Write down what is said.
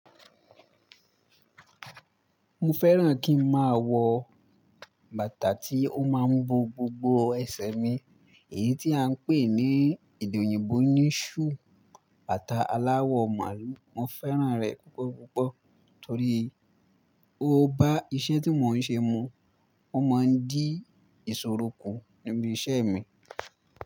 Mo fẹ́ràn kí n máa wọ bàtà tí ó máa ń bo gbogbo ẹsẹ̀ mi, èyí tí à ń pè ní èdè òyìnbó ní shoe, bàtà aláwọ̀ màálù. Mo fẹ́ràn rẹ̀ púpọ̀ púpọ̀ torí ó bá iṣẹ́ tí mò ń ṣe mu. Ó máa ń dí ìṣòro kù níbi iṣẹ́ mi.